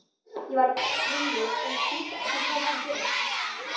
Ég varð ringluð og skildi ekki hvað var að gerast.